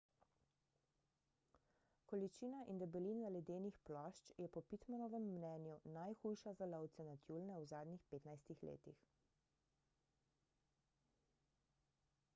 količina in debelina ledenih plošč je po pittmanovem mnenju najhujša za lovce na tjulnje v zadnjih 15 letih